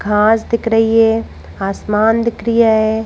घास दिख रही है आसमान दिख रिया है।